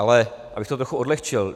Ale abych to trochu odlehčil.